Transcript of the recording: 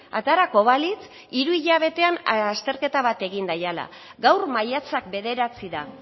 aterako balitz hiru hilabetean azterketa bat egin daiala gaur maiatzak bederatzi da